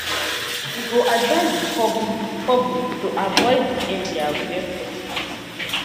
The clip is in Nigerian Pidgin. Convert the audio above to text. we go advise di public public to avoid di area where possible